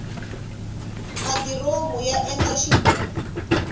madiromu aya endla xighubu